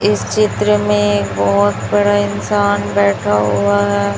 इस चित्र में एक बहोत बड़ा इंसान बैठा हुआ है।